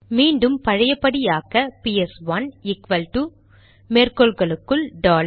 மீண்டும் பழையபடி ஆக்க பிஎஸ்1 ஈக்வல்டு மேற்கோள்களுக்குள் டாலர்